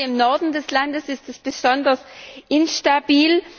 Gerade im Norden des Landes ist sie besonders instabil.